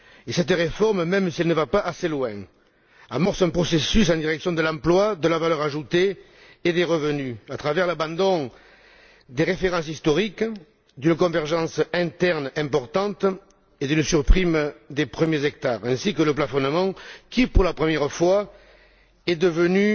Cette réforme, même si elle ne va pas assez loin, amorce un processus en direction de l'emploi, de la valeur ajoutée et des revenus, à travers l'abandon des références historiques, d'une convergence interne importante et d'une surprime des premiers hectares, ainsi que le plafonnement, qui, pour la première fois, est devenu